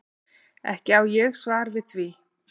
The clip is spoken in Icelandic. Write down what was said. Ekki á ég svar við því.